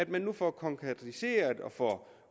vi nu får konkretiseret og får